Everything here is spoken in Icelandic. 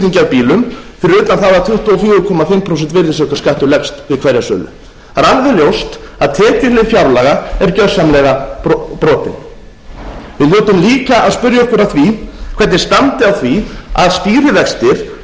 bílum fyrir utan það að tuttugu og fjögur og hálft prósent virðisaukaskattur leggst við hverja sölu það er alveg ljóst að tekjulind fjárlaga er gjörsamlega brotin við hljótum líka að spyrja okkur að því því hvernig standi á því að stýrivextir sem